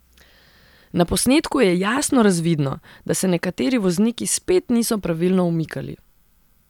Na posnetku je jasno razvidno, da se nekateri vozniki spet niso pravilno umikali.